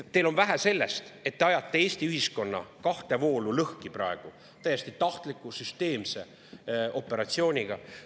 Teile on vähe sellest, et te ajate Eesti ühiskonna kahte voolu, lõhki täiesti tahtliku süsteemse operatsiooniga.